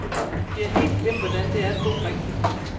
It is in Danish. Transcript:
Vi har helt glemt, hvordan det er at bo rigtigt.